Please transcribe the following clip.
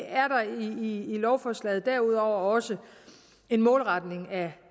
lovforslaget derudover også en målretning af